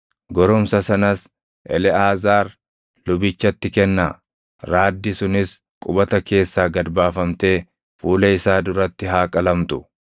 Goromsa sanas Eleʼaazaar lubichatti kennaa; raaddi sunis qubata keessaa gad baafamtee fuula isaa duratti haa qalamtu.